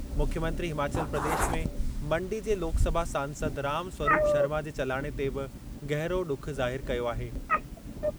मुख्यमंत्री हिमाचल प्रदेश में मंडी जे लोकसभा सांसद राम स्वरूप शर्मा जे चलाणे ते बि गहरो ॾुख ज़ाहिरु कयो आहे।